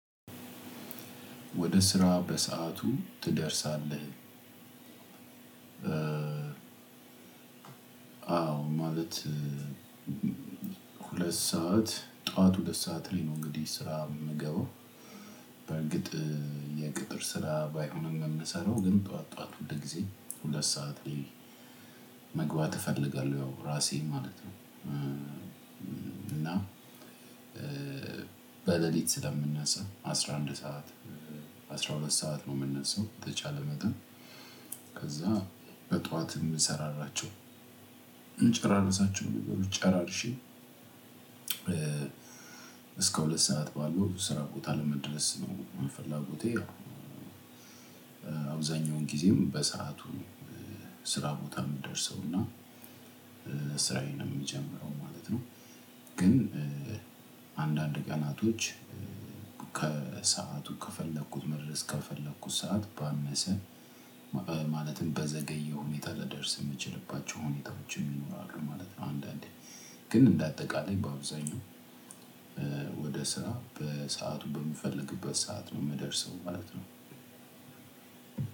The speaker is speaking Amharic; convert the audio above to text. ወደ ስራ በሰአቱ ትደርሳለህ? አዎ ማለት ሁለት ሰዓት ጧት ሁለት ሰዓት ላይ ነው። እንግዲህ ስራ የምገባው በርግጥ የቅጥር ስራ ባይሆንም የምሰራው ግን ጠዋት ጠዋት ሁል ጊዜ ሁለት ሰዓት ላይ መግባት እፈልጋለሁ ያው ራሴ ማለት ነው። እና በሌሊት ስለምንነሳ አስራ አንድ ሰዓት አስራ ሁለት ሰዓት ነው የምንነሳው። የተቻለ መጠን ከዛ በጧት የምንሰራራቸው የምንጨራርሳቸው ነገሮች ጨራርሼ እስከ ሁለት ሰዓት ባለው ስራ ቦታ ለመድረስ ነው። ፍላጎቴ ያው አብዛኛውን ጊዜም በሰአቱ ስራ ቦታ የምንደርሰውና ስራዬን የምጀምረው ማለት ነው። ግን አንዳንድ ቀናቶች ከሰአቱ ከፈለኩት መድረስ ከፈለኩት ሰዓት ባነሰ ማለትም በዘገየ ሁኔታ ልደርስ የምችልባቸው ሁኔታዎችም ይኖራሉ ማለት ነው። አንዳንዴ ግን እንደ አጠቃላይ በአብዛኛው ወደ ስራ በሰአቱ በምፈልግበት ሰዓት ነው የምደርሰው ማለት ነው።